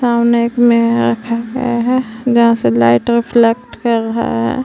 जहा से light reflect कर रहा है।